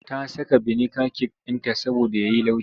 Ta saka biniga cake ɗinta saboda ya yi laushi.